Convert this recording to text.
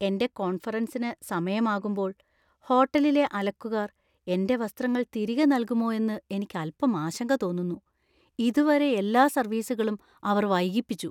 എന്‍റെ കോൺഫറൻസിന് സമയമാകുമ്പോൾ ഹോട്ടലിലെ അലക്കുക്കാർ എന്‍റെ വസ്ത്രങ്ങൾ തിരികെ നൽകുമോ എന്ന് എനിക്ക് അൽപ്പം ആശങ്ക തോന്നുന്നു. ഇതുവരെ, എല്ലാ സർവീസുകളും അവർ വൈകിപ്പിച്ചു.